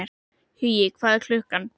Hugi, hvað er klukkan?